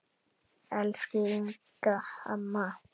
Elsku Inga amma.